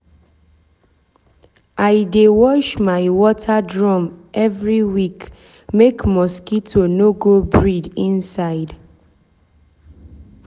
i dey wash my water drum every week make mosquito no go breed inside.